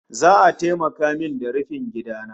Za'a taimaka min da rufin gida na